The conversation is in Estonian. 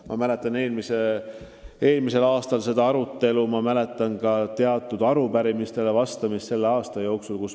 Ma mäletan eelmisel aastal seda arutelu ja ma mäletan ka teatud arupärimistele vastamist selle aasta jooksul.